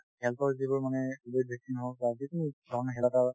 health ৰ যিবোৰ মানে কভিড vaccine হওক বা যিকোনো ধৰণৰ